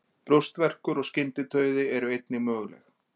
Brjóstverkur og skyndidauði eru einnig möguleg.